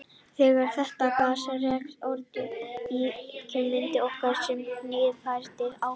Þegar þetta gas rekst á öreindir í geimnum myndast orka sem knýr farartækið áfram.